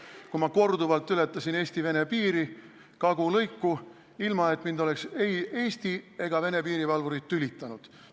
Ma ületasin korduvalt Eesti-Vene piiri kagulõiku, ilma et mind ei Eesti ega Vene piirivalvurid oleksid tülitanud.